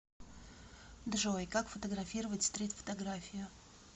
джой как фотографировать стрит фотографию